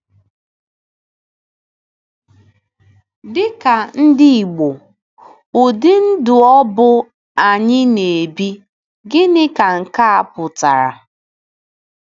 Dị ka ndị Igbo, ụdị ndụ ọ bụ anyị na-ebi, gịnịkwa ka nke a pụtara?